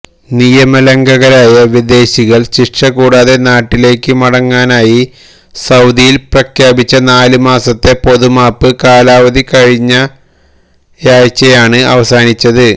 നിയമലംഘകരായ വിദേശികള്ക്ക് ശിക്ഷ കൂടാതെ നാട്ടിലേക്ക് മടങ്ങാനായി സൌദിയില് പ്രഖ്യാപിച്ച നാല് മാസത്തെ പൊതുമാപ്പ് കാലാവധി കഴിഞ്ഞയാഴ്ചയാണ് അവസാനിച്ചത്